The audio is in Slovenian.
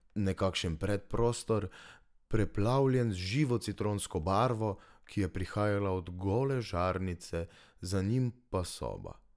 Nekakšen predprostor, preplavljen z živo citronsko barvo, ki je prihajala od gole žarnice, za njim pa soba.